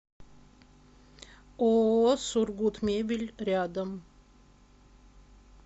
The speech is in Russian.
ооо сургутмебель рядом